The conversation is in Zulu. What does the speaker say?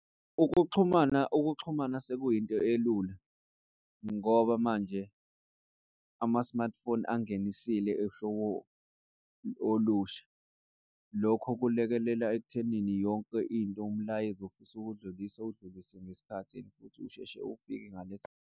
Ukuxhumana, ukuxhumana sekuyinto elula ngoba manje ama-smartphone angene ehlobo olusha. Lokho kulekelela ekuthenini yonke into umlayezo ofisa uwudlulise, udlulise ngesikhathi and futhi usheshe ufike ngaleso.